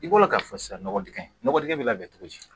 I bolo k'a fɔ sisan nɔgɔ digɛn nɔgɔ dingɛ bɛ labɛn cogo di